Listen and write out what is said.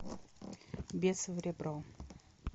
бес в ребро